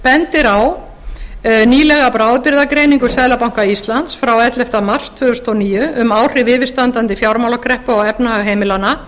bendir á nýlega bráðabirgðagreiningu seðlabanka íslands frá elleftu mars tvö þúsund og níu um áhrif yfirstandandi fjármálakreppu á efnahag heimilanna